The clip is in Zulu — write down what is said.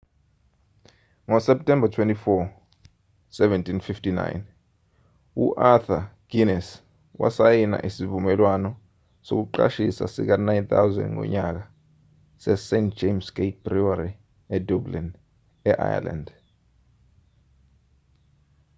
ngoseptemba 24 1759 u-arthur guinness wasayina isivumelwano sokuqashisa sika-9,000 ngonyaka sest james' gate brewery edublin e-ireland